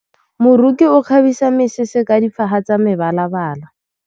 Moroki o kgabisa mesese ka difaga tsa mebalabala.